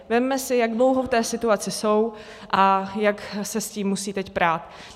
Vezměme si, jak dlouho v té situaci jsou a jak se s tím musejí teď prát.